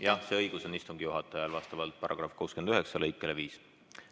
Jah, see õigus on istungi juhatajal vastavalt § 69 lõikele 5.